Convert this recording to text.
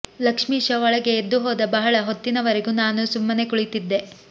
ಲಕ್ಷ್ಮೀಶ ಒಳಗೆ ಎದ್ದು ಹೋದ ಬಹಳ ಹೊತ್ತಿನವರೆಗು ನಾನು ಸುಮ್ಮನೆ ಕುಳಿತಿದ್ದೆ